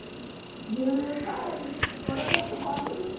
bill काय आहे एवढ नसतं contry